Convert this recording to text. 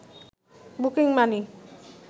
booking money